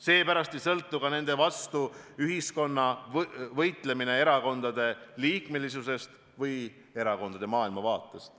Seepärast ei sõltu ka nende vastu võitlemine ühiskonnas erakondade maailmavaatest.